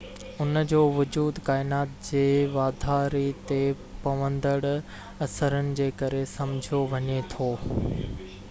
ان جو وجود ڪائنات جي واڌاري تي پوندڙ اثرن جي ڪري سمجهيو وڃي ٿو